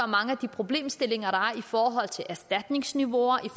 mange af de problemstillinger der er i forhold til erstatningsniveauer i